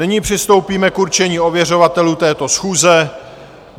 Nyní přistoupíme k určení ověřovatelů této schůze.